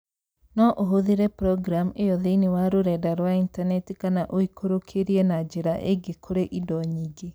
No ũhũthĩre programu ĩyo thĩinĩ wa rũrenda rwa intaneti kana ũikũrũkĩrie na njĩra ingĩ kũrĩ indo nyingĩ